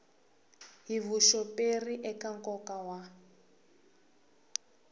hi vuxoperi eka nkoka wa